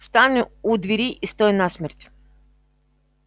встань у двери и стой насмерть